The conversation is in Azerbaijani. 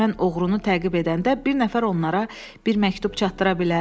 Mən oğrunu təqib edəndə bir nəfər onlara bir məktub çatdıra bilər?